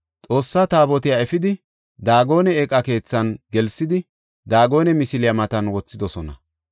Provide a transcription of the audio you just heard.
Xoossa Taabotiya efidi, Daagone eeqa keethan gelsidi, Daagone misiliya matan wothidosona.